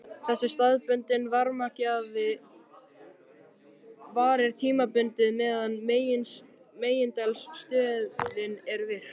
Þessi staðbundni varmagjafi varir tímabundið meðan megineldstöðin er virk.